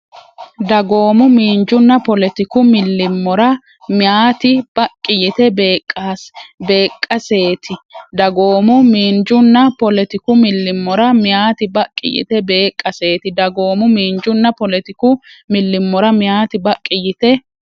Dagoomu, miinjunna poletiku millimmora meyaati baqqi yite beeqqaseeti Dagoomu, miinjunna poletiku millimmora meyaati baqqi yite beeqqaseeti Dagoomu, miinjunna poletiku millimmora meyaati baqqi yite.